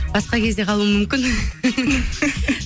басқа кезде қалуым мүмкін